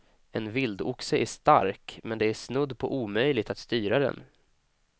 En vildoxe är stark, men det är snudd på omöjligt att styra den.